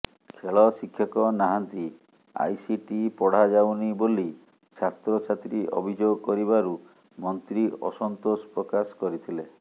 ଖେଳ ଶିକ୍ଷକ ନାହାନ୍ତି ଆଇସିଟି ପଢ଼ାଯାଉନି ବୋଲି ଛାତ୍ରଛାତ୍ରୀ ଅଭିଯୋଗ କରିବାରୁ ମନ୍ତ୍ରୀ ଅସନ୍ତୋଷ ପ୍ରକାଶ କରିଥିଲେ